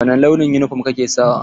Wani launin yunifom ka ke sawa?